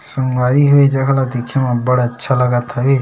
संगवारी हो ये जगह ले देखे मा बड़ अच्छा लगत हवय।